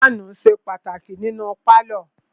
Fáànù ṣe pàtàkì nínú pálọ̀.